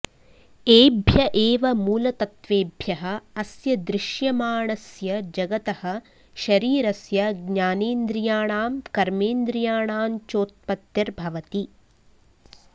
एभ्य एव मूलतत्त्वेभ्यः अस्य दृश्यमाणस्य जगतः शरीरस्य ज्ञानेन्द्रियाणां कर्मेन्द्रियाणाञ्चोत्पत्तिर्भवति